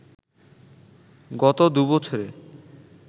গত দু’বছরে